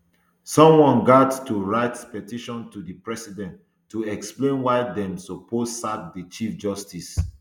someone gaet to write petition to di president to explain why dem suppose sack di chief justice